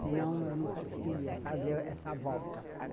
senão eu não conseguiria fazer essa volta, sabe?